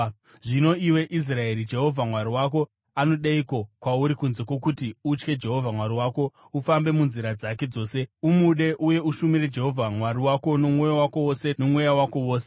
Zvino, iwe Israeri, Jehovha Mwari wako anodeiko kwauri kunze kwokuti utye Jehovha Mwari wako, ufambe munzira dzake dzose, umude, uye ushumire Jehovha Mwari wako nomwoyo wako wose nomweya wako wose,